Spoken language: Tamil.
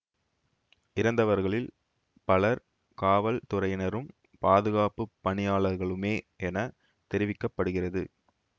இறந்தவர்களில் பலர் காவல்துறையினரும் பாதுகாப்பு பணியாளர்களுமே என தெரிவிக்க படுகிறது